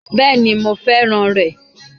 Bẹ́ẹ̀ni mo fẹ́ràn rè